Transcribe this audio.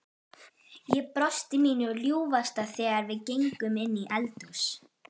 Ég brosti mínu ljúfasta þegar við gengum inn í eldhús.